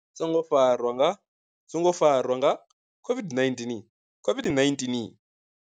Songo farwa nga songo farwa nga COVID-19, COVID-19.